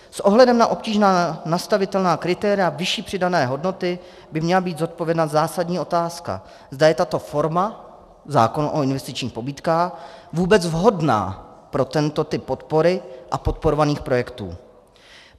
S ohledem na obtížná nastavitelná kritéria vyšší přidané hodnoty by měla být zodpovězena zásadní otázka, zda je tato forma, zákon o investičních pobídkách, vůbec vhodná pro tento typ podpory a podporovaných projektů.